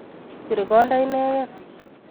Bir konda inegen